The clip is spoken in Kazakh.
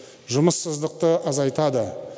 жұмыссыздықты азайтады